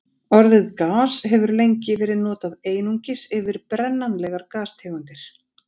Orðið gas hefur lengi verið notað einungis yfir brennanlegar gastegundir.